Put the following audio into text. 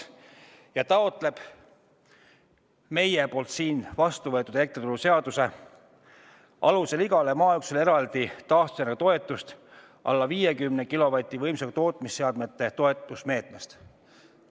Ta taotleb siin vastu võetud elektrituruseaduse alusel igale maaüksusele alla 50-kilovatise võimsusega tootmisseadmete toetusmeetmest eraldi taastuvenergia toetust.